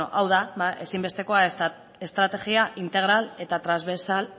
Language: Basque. hau da ezinbestekoa estrategia integral eta transbersal